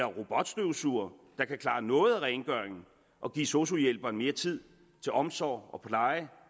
robotstøvsugere der kan klare noget af rengøringen og give sosu hjælperen mere tid til omsorg og pleje og